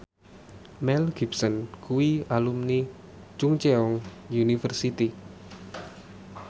Mel Gibson kuwi alumni Chungceong University